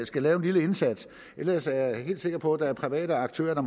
skal lave en lille indsats ellers er jeg helt sikker på at være private aktører